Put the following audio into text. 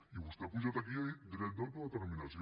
i vostè ha pujat aquí i ha dit dret d’autodeterminació